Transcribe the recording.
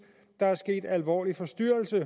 der er sket en alvorlig forstyrrelse i